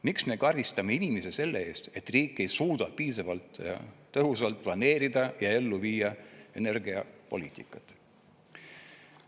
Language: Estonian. Miks me karistame inimesi selle eest, et riik ei suuda piisavalt tõhusalt planeerida ja ellu viia energiapoliitikat?